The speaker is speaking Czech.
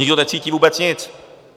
Nikdo necítí vůbec nic.